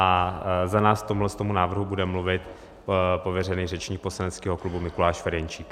A za nás k tomuhle návrhu bude mluvit pověřený řečník poslaneckého klubu Mikuláš Ferjenčík.